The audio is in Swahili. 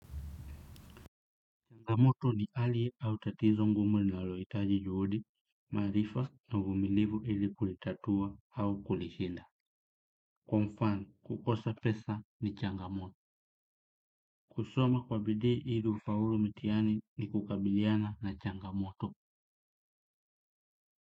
Pa moto ni pale au tatizo ngumu linalo hitaji juhudi, maarifa na uvumilivu ili kulitatua au kulishinda. Kwa mfano, kukosa pesa ni changamoto. Kusoma kwa bidii ili ufaulu mitihani ni kukabiliana na changamoto.